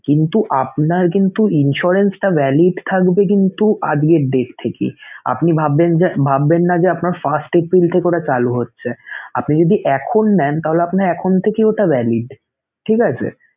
কিন্তু আপনার কিন্তু insurance টা valid থাকবে কিন্তু আজকের date থেকে আপনি ভাববেন যে~ ভাববেন না যে আপনার first এপ্রিল থেকে ওটা চালু হচ্ছেআপনি যদি এখন নেন তাহলে আপনার এখন থেকেই ওটা valid ঠিক আছে!